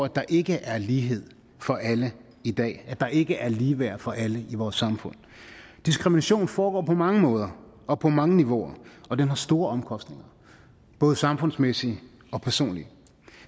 der ikke er lighed for alle i dag at der ikke er ligeværd for alle i vores samfund diskrimination foregår på mange måder og på mange niveauer og det har store omkostninger både samfundsmæssigt og personligt